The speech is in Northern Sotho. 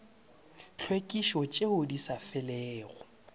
tlhwekišo tšeo di sa felego